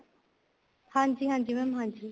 ਹਾਂਜੀ ਹਾਂਜੀ mam ਹਾਂਜੀ